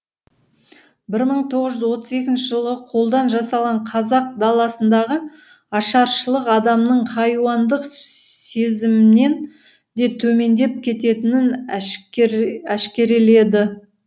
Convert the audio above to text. бір мың тоғыз жүз отыз екінші жылғы қолдан жасалған қазақ даласындағы ашаршылық адамның хайуандық сезімнен де төмендеп кететінін әшкереледі